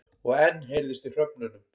Og enn heyrðist í hröfnunum.